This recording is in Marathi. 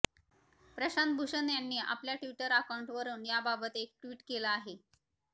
प्रशांत भूषण यांनी आपल्या ट्विटर अकाऊंटवरून याबाबत एक ट्विट केलं आहे